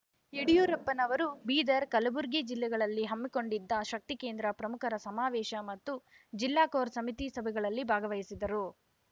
ಯಡಿಯೂರಪ್ಪನವರು ಬೀದರ್‌ ಕಲ್ಬುರ್ಗಿ ಜಿಲ್ಲೆಗಳಲ್ಲಿ ಹಮ್ಮಿಕೊಂಡಿದ್ದ ಶಕ್ತಿಕೇಂದ್ರ ಪ್ರಮುಖರ ಸಮಾವೇಶ ಮತ್ತು ಜಿಲ್ಲಾ ಕೋರ್‌ ಸಮಿತಿ ಸಭೆಗಳಲ್ಲಿ ಭಾಗವಹಿಸಿದರು